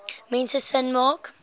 mense sin maak